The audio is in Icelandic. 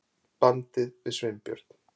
bandið við Sveinbjörn.